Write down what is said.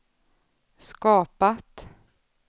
skapat